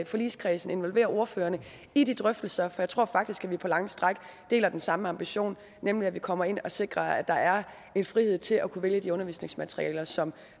forligskredsen involvere ordførerne i de drøftelser jeg tror faktisk at vi på lange stræk deler den samme ambition nemlig at vi kommer ind og sikrer at der er en frihed til at kunne vælge de undervisningsmaterialer som